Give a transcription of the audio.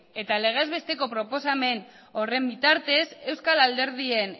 eta legez besteko proposamen horren bitartez euskal alderdien